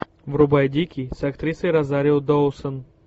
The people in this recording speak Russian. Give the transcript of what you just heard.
врубай дикий с актрисой розарио доусон